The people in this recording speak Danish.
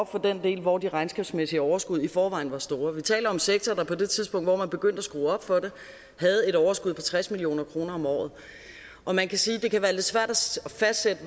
for den del hvor det regnskabsmæssige overskud i forvejen er stort vi taler om en sektor der på det tidspunkt hvor man begyndte at skrue op for det havde et overskud på tres million kroner om året og man kan sige